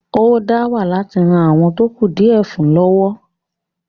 ó dáwà láti ran “àwọn tó kù díẹ̀ fún ” lọ́wọ́.